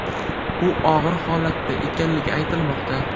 U og‘ir holatda ekanligi aytilmoqda.